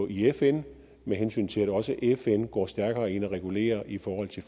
i fn med hensyn til at også fn går stærkere ind og regulerer i forhold til